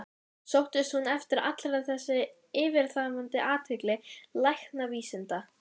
Sóttist hún eftir allri þessari yfirþyrmandi athygli læknavísindanna?